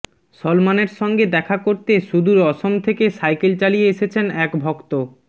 সলমানের সঙ্গে দেখা করতে সুদূর অসম থেকে সাইকেল চালিয়ে এসেছেন এক ভক্ত